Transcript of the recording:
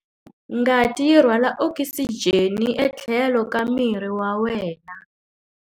Ngati yi rhwala okisijeni etlhelo ka miri wa wena.